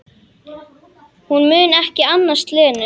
Hún mun ekki annast Lenu.